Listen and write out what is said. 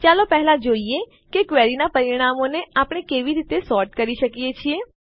ચાલો પહેલા જોઈએ કે ક્વેરીનાં પરિણામોને આપણે કેવી રીતે સોર્ટ કરી શકીએ છીએ